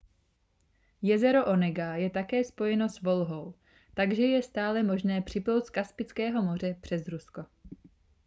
jezero onega je také spojeno s volhou takže je stále možné připlout z kaspického moře přes rusko